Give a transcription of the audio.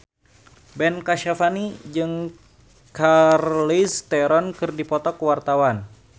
Ben Kasyafani jeung Charlize Theron keur dipoto ku wartawan